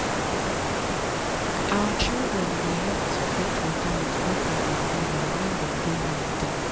our children dey help to fetch rainwater with bucket and gallon when dem dey holiday.